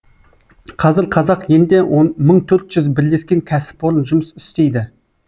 қазір қазақ елінде мың төрт жүз бірлескен кәсіпорын жұмыс істейді